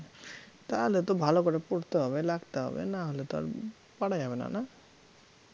তাহলে তো ভালো করে পড়তে হবে, লাগতে হবে নাহলে তো আর পারা যাবে না না